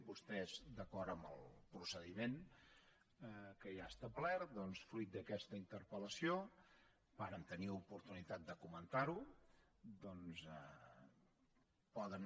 vostès d’acord amb el procediment que hi ha establert doncs fruit d’aquesta interpeloportunitat de comentar ho doncs poden